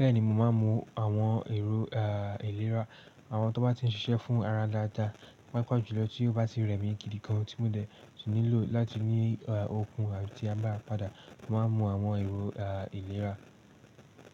Bẹ́ẹ̀ni, mo máa ń mu àwọn èrò ìlera, àwọn tó bá ti ń ṣiṣẹ́ fún ara dáadáa, pàápàá jùlọ tí ó bá ti rẹ̀ mí gidi gan-an tí mo dẹ̀ nílò láti ní okun àti agbára padà. Mo máa ń mu àwọn èrò ìlera.